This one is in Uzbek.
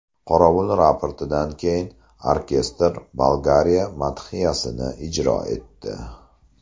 Qorovul raportidan keyin orkestr Bolgariya madhiyasini ijro etdi.